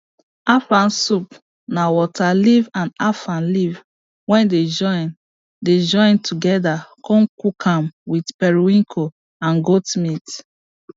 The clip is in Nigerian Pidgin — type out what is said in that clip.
afang soup na water leaf and afang leaf wey dey join dey join together con cook am with periwinkle and goat meat